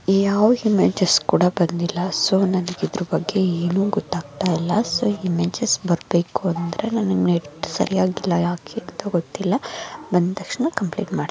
ಯಾವ್ ಇಮೇಜ್ ಕೂಡ ಬಂದಿಲ್ಲ ಸೊ ನನಗೆ ಇದರ ಬಗ್ಗೆ ಏನು ಗೊತ್ತಾಗ್ತಾ ಇಲ್ಲ. ಸೊ ಇಮೇಜ್ ಬರ್ಬೇಕು ಅಂದ್ರೆ ನೆಟ್ ಸರಿಯಾಗಿ ವರ್ಕ್ ಆಗ್ತಿಲ್ಲ ಯಾಕೆ ಅಂತ ಗೊತ್ತಿಲ್ಲ ಬಂದ್ಮೇಲೆ ಕಂಪ್ಲೀಟ್ ಮಾಡ್ --